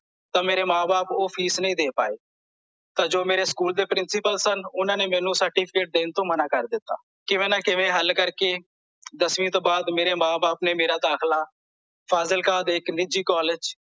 ਤਾਂ ਮੇਰੇ ਮਾਂ ਬਾਪ ਓਹ ਫੀਸ ਨਹੀਂ ਦੇ ਪਾਏ ਤਾਂ ਜੋ ਮੇਰੇ ਸਕੂਲ ਦੇ ਪ੍ਰਿੰਸੀਪਲ ਸਨ ਓਹਨਾਂ ਨੇ ਮੈਨੂੰ certificate ਦੇਣ ਤੋਂ ਮਨਾ ਕਰ ਦਿੱਤਾ ਕਿਵੇ ਨਾਂ ਕਿਵੇ ਹੱਲ ਕਰਕੇ ਦਸਵੀਂ ਤੋਂ ਬਾਅਦ ਮੇਰੇ ਮਾਂ ਬਾਪ ਨੇ ਮੇਰਾ ਦਾਖਿਲਾ ਫਾਜ਼ਿਲਕਾ ਦੇ ਇੱਕ ਨਿੱਝੀ ਕਾਲਜ